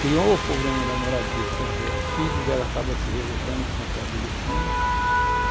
criou o problema da moradia, quer dizer, os filhos dela acabam se revoltando, que são pré-adolescentes.